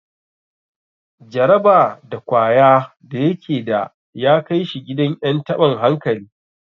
Jaraba da kwaya da yake da ya kai shi gidan en taban hankali.